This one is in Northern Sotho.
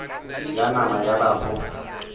ya nama ya ba go